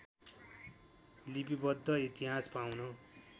लिपिवद्ध इतिहास पाउन